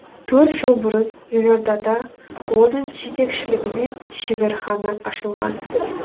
төрт жыл бұрын елордада оның жетекшілігімен шеберхана ашылған